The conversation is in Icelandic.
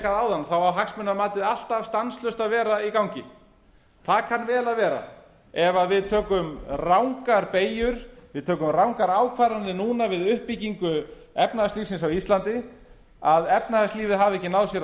áðan þá á hagsmunamatið alltaf stanslaust að vera í gangi það kann vel að vera ef við erum rangar beygjur við tökum rangar ákvarðanir núna við uppbyggingu efnahagslífsins á íslandi að efnahagslífið hafi ekki náð sér á